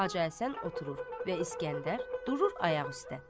Hacı Həsən oturur və İskəndər durur ayaq üstə.